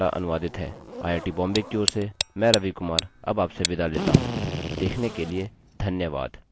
यह स्क्रिप्ट देवेन्द्र कैरवान द्वारा अनुवादित है आईआईटी मुम्बई की ओर से मैं रवि कुमार अब आपसे विदा लेता हूँ देखने के लिए धन्यवाद